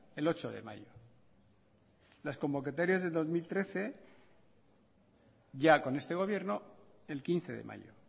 el ocho de mayo las convocatorias del dos mil trece ya con este gobierno el quince de mayo